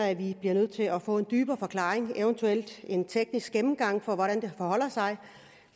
at vi bliver nødt til at få en dybere forklaring eventuelt en teknisk gennemgang af hvordan det forholder sig